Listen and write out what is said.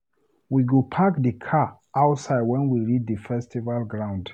We go park di car outside wen we reach di festival ground.